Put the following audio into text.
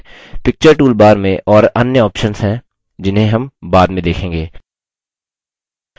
picture toolbar में और अन्य options हैं जिन्हें हम बाद में देखेंगे